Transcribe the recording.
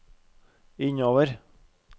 innover